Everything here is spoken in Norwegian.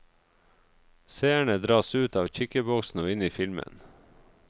Seerne dras ut av kikkeboksen og inn i filmen.